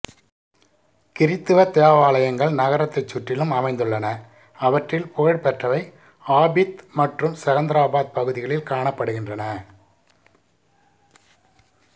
கிறித்தவ தேவாலயங்கள் நகரத்தைச் சுற்றிலும் அமைந்துள்ளன அவற்றில் புகழ்பெற்றவை ஆபித் மற்றும் செகந்தரபாத் பகுதிகளில் காணப்படுகின்றன